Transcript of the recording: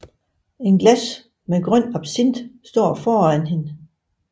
Et glas med en grøn absint står foran hende